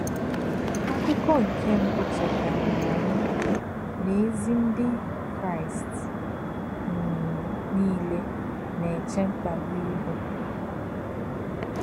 Àkù̄kọ́̄ nké̄ mbù̄ chè̄tà̄rà̄ ànyí̄ nà̄ ézì Ndí̄ Kraị́st um nílé̄ nā̄-èchè̄ mkpà̄gbù̄ íhù̄.